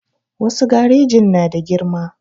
Wasu garejin na da girma